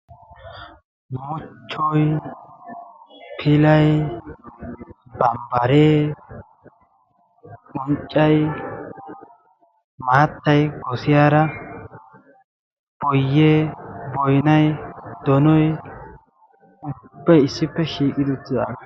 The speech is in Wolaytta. Muchchoy, pilay, bambbare, unccay, maattay goossiyaara, boyyee, boynnay, doonoy ubbay issippe shiiqidi uttidaaga.